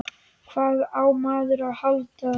Hvað á maður að halda?